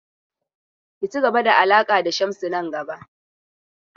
Ki ci gaba da alaƙa da Shamsu nan gaba!